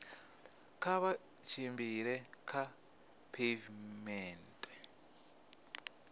kha vha tshimbile kha pheivimennde